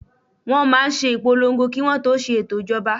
Wọ́n máa n ṣe ìpolongo kí wọ́n tó ṣe ètò ìṣèjọba